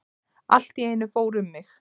Allt í einu fór um mig.